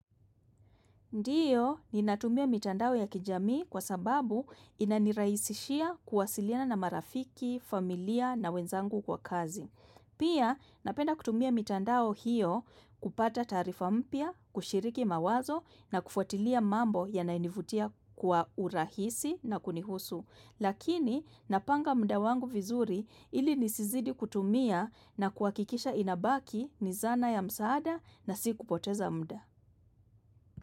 Ndiyo, ninatumia mitandao ya kijamii kwa sababu inanirahisishia kuwasiliana na marafiki, familia na wenzangu kwa kazi. Pia, napenda kutumia mitandao hiyo kupata taarifa mpya, kushiriki mawazo na kufuatilia mambo yanayo nivutia kwa urahisi na kunihusu. Lakini, napanga muda wangu vizuri ili nisizidi kutumia na kuhakikisha inabaki ni zana ya msaada na si kupoteza muda.